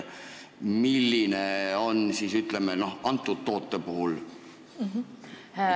Milline on olukord, ütleme, antud toote puhul?